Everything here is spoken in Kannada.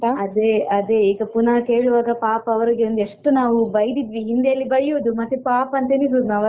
ಅದೇ ಅದೇ ಈಗ ಪುನಃ ಕೇಳುವಾಗ ಪಾಪ ಅವರಿಗೊಂದು ಎಷ್ಟು ನಾವು ಬೈದಿದ್ವಿ ಹಿಂದೆಯಲ್ಲಿ ಬೈಯುವುದು ಮತ್ತೆ ಪಾಪ ಅಂತ ಎಣಿಸುದು ನಾವಲ್ಲಾ.